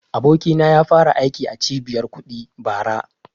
Abokina ya fara aiki a cibiyar kuɗi bara